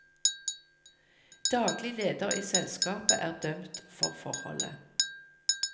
Daglig leder i selskapet er dømt for forholdet.